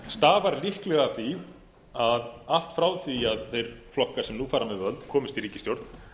stafar líklega af því að allt frá því að þeir flokkar sem nú fara með völd komust í ríkisstjórn